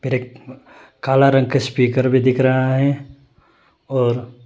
फिर एक काला रंग का स्पीकर भी दिख रहा है और--